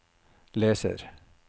leser